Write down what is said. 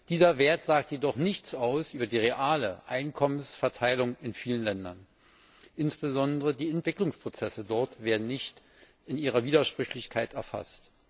Dieser Wert sagt jedoch nichts über die reale Einkommensverteilung in vielen Ländern aus. Insbesondere die Entwicklungsprozesse dort werden nicht in ihrer Widersprüchlichkeit erfasst.